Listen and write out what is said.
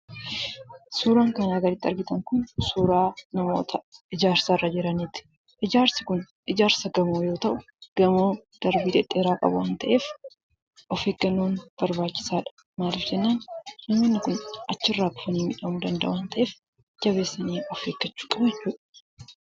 Suuraan kanaa gaditti argitan kun suuraa namoota ijaarsa irra jiraniiti. Ijaarsi kun ijaarsa gamoo yoo ta'u, gamoo darbii dhedheeraa qabu waan ta'eef, of eeggannoon barbaachisaadha. Maaliif jennaan namoonni kun achirraa kufanii miidhamuu danda'u waan ta'eef jabeessanii of eeggachuu qabu jechuudha.